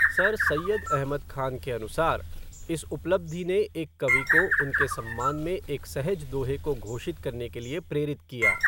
Sir Syed Ahmad Khan के अनुसार, इस उपलब्धि ने एक कवि को उनके सम्मान में एक सहज दोहे को घोषित करने के लिए प्रेरित किया।